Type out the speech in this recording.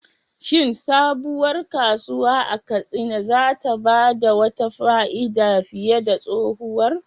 Shin sabuwar kasuwa a Katsina za ta ba da wata fa'ida fiye da tsohuwar?